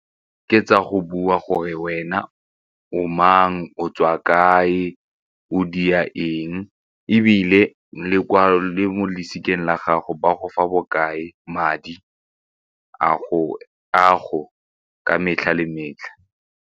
Ke tsa go bua gore wena o mang, o tswa kae, o dia eng ebile le mo losikeng la gago ba go fa bokae madi a go ka metlha le metlha.